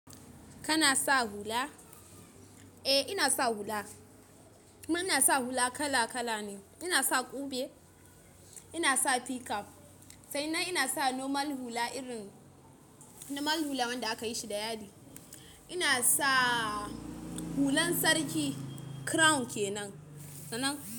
Kana sa hula? Eh ina sa hula. Amma ina sa hula kala kala ne. Ina sa ƙube, ina sa p-cap sannan ina sa normal hula irin normal hula wanda aka yi shi da yadi. Ina sa hulan sarki crown kenan.